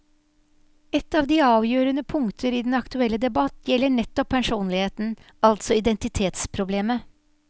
Et av de avgjørende punkter i den aktuelle debatt gjelder nettopp personligheten, altså identitetsproblemet.